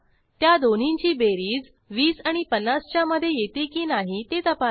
त्या दोन्हींची बेरीज 20 आणि 50 च्या मधे येते की नाही ते तपासा